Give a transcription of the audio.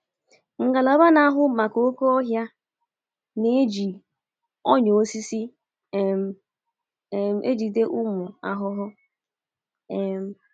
Ngalaba na-ahụ maka oké ọhịa na-eji “ọnyà osisi um ” um ejide ụmụ ahụhụ. um